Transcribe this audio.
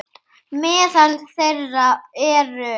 Meðal þeirra eru